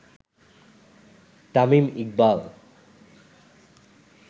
Tamim Iqbal